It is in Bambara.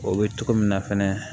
O bɛ cogo min na fɛnɛ